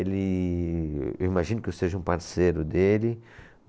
Ele... Eu imagino que eu seja um parceiro dele.